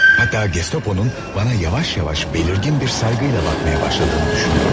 Hatta Gestaponun bana yavaş-yavaş belirgin bir saygıyla bakmaya başladığını düşünüyordum.